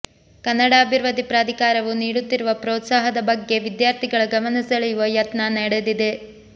ಕನ್ನಡ ಅಭಿವೃದ್ಧಿ ಪ್ರಾಧಿಕಾರವು ನೀಡುತ್ತಿರುವ ಪ್ರೋತ್ಸಾಹದ ಬಗ್ಗೆ ವಿದ್ಯಾರ್ಥಿಗಳ ಗಮನ ಸೆಳೆಯುವ ಯತ್ನ ನಡೆದಿದೆ